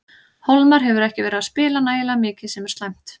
Hólmar hefur ekki verið að spila nægilega mikið sem er slæmt.